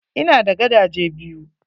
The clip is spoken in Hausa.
Ina da gadaje biyu.